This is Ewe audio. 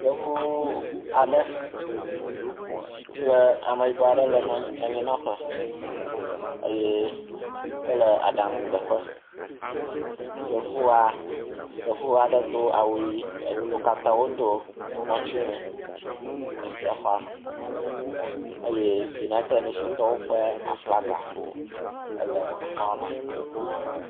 Yevu aɖe kple ame yibɔ aɖe le anyi nɔƒe eye wole aɖaŋu ɖe ƒe. Yevua, yevua ɖe do awu ʋi e wo kata wodo ŋɔtiwuie le xɔa me eye United Nation tɔwo ƒe aflaga le xɔa me.